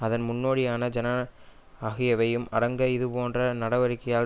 அதன் முன்னோடியான ஜன ஆகியவையும் அடங்க இதுபோன்ற நடவடிக்கையால்